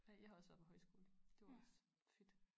Ej jeg har også været på højskole det var også fedt